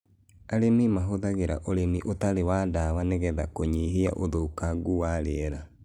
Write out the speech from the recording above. Arĩmi mahũthagĩra ũrĩmi ũtarĩ wa dawa nĩgetha kũnyihia ũthũkangu wa rĩera.